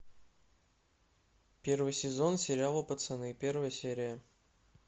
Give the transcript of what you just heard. первый сезон сериала пацаны первая серия